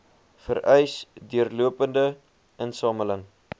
vereis deurlopende insameling